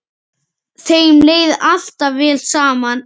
Þeim leið alltaf vel saman.